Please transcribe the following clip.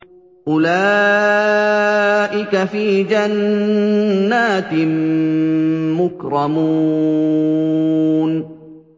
أُولَٰئِكَ فِي جَنَّاتٍ مُّكْرَمُونَ